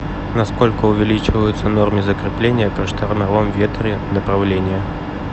на сколько увеличиваются нормы закрепления при штормовом ветре направление